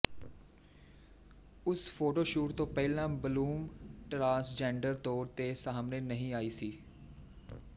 ਉਸ ਫੋਟੋਸ਼ੂਟ ਤੋਂ ਪਹਿਲਾਂ ਬਲੂਮ ਟਰਾਂਸਜੈਂਡਰ ਤੌਰ ਤੇ ਸਾਹਮਣੇ ਨਹੀਂ ਆਈ ਸੀ